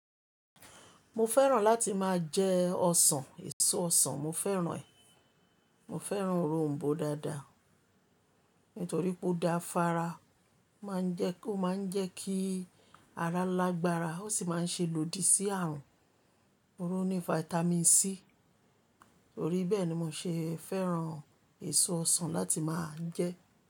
Mo fẹ́ràn láti máa jẹ ọsàn, èso ọsàn mo fẹ́ràn ẹ̀. Mo fẹ́ràn òronbó dáadáa nítorí pé ó da fára, máa ń jẹ́ k, ó máa ń jẹ́ kí ara lágbára, ó sì máa ń ṣe lòdì sí àrùn. Tori o ní vitamin C, torí bẹ́ẹ̀ ni mo ṣe fẹ́ràn èso ọsàn láti máa jẹ.